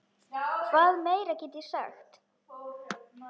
Hvað meira get ég sagt?